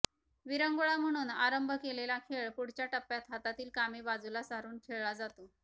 विरंगुळा म्हणून आरंभ केलेला खेळ पुढच्या टप्प्यात हातातील कामे बाजूला सारून खेळला जातो